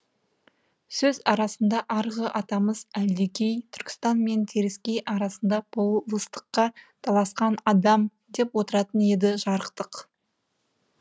сөз арасында арғы атамыз әлдекей түркістан мен теріскей арасында болыстыққа таласқан адам деп отыратын еді жарықтық